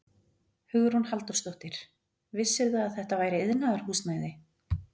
Hugrún Halldórsdóttir: Vissirðu að þetta væri iðnaðarhúsnæði?